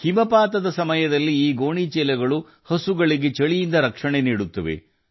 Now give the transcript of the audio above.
ಹಿಮಪಾತದ ಸಮಯದಲ್ಲಿ ಈ ಚೀಲಗಳು ಚಳಿಯಿಂದ ಹಸುಗಳಿಗೆ ರಕ್ಷಣೆ ನೀಡುತ್ತದೆ